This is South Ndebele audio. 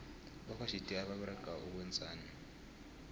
bakwa gti baberega ukwenzani